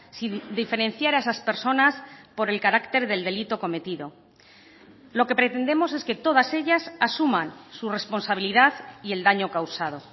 sin diferenciar a esas personas por el carácter del delito cometido lo que pretendemos es que todas ellas asuman su responsabilidad y el daño causado